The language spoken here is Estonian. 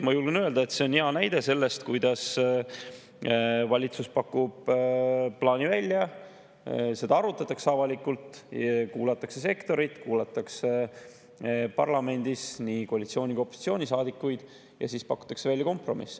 Ma julgen öelda, et see on hea näide sellest, kuidas valitsus pakub plaani välja, seda arutatakse avalikult, kuulatakse sektorit, kuulatakse parlamendis nii koalitsiooni‑ kui ka opositsioonisaadikuid ja siis pakutakse välja kompromiss.